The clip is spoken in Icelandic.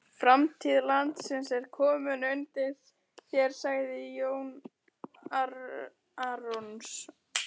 Framtíð landsins er komin undir þér, sagði Jón Arason.